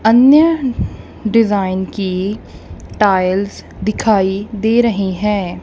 अन्य डिज़ाइन की टाइल्स दिखाई दे रही है।